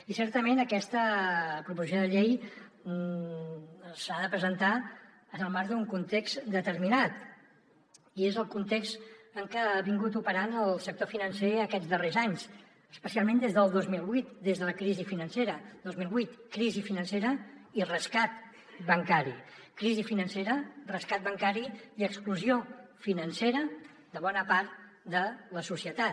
i certament aquesta proposició de llei s’ha de presentar en el marc d’un context determinat i és el context en què ha operat el sector financer aquests darrers anys especialment des del dos mil vuit des de la crisi financera el dos mil vuit crisi financera i rescat bancari crisi financera rescat bancari i exclusió financera de bona part de la societat